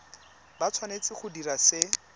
ba tshwanetse go dira se